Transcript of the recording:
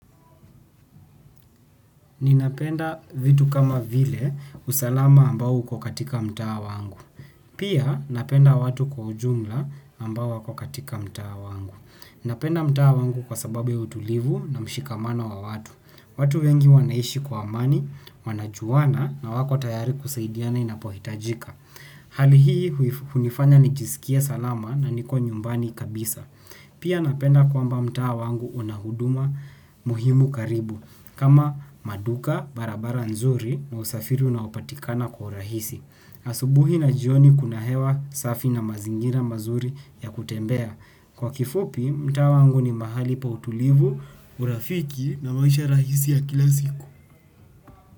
Ninapenda vitu kama vile usalama ambao uko katika mtaa wangu. Pia, napenda watu kwa ujumla ambao wako katika mtaa wangu. Napenda mtaa wangu kwa sababu ya utulivu na mshikamano wa watu. Watu wengi wanaishi kwa amani, wanajuana na wako tayari kusaidiana inapohitajika. Hali hii hunifanya nijisikie salama na niko nyumbani kabisa. Pia napenda kwamba mtaa wangu unahuduma muhimu karibu. Kama maduka, barabara nzuri na usafiri unaopatikana kwa urahisi. Asubuhi na jioni kuna hewa safi na mazingira mazuri ya kutembea. Kwa kifupi, mtaa wangu ni mahali pa utulivu, urafiki na maisha rahisi ya kila siku.